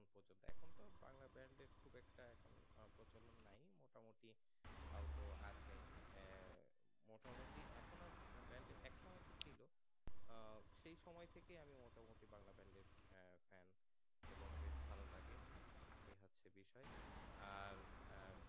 তও তো আছে মোটা মটি এখন আর band এ এক সময় ঠিক ছিল আহ সেই সময় থেকে আমি মোটা মোটি বাংলা band এর আহ fan এবং বেশ ভালো লাগে এ হচ্ছে বিষয় আর আহ